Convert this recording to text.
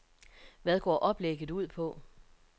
Hvad går oplægget ud på?